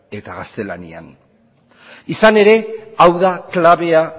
eta gaztelanian izan ere hau da klabea